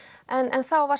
en þá var